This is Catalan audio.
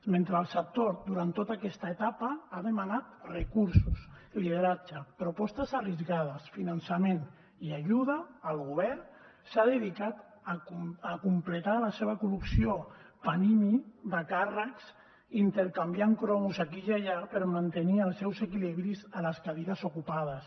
mentre el sector durant tota aquesta etapa ha demanat recursos lideratge propostes arriscades finançament i ajuda el govern s’ha dedicat a completar la seva col·lecció panini de càrrecs intercanviant cromos aquí i allà per mantenir els seus equilibris a les cadires ocupades